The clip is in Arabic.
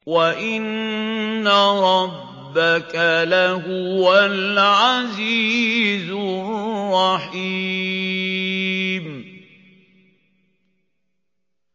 وَإِنَّ رَبَّكَ لَهُوَ الْعَزِيزُ الرَّحِيمُ